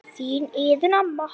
Þín Iðunn amma.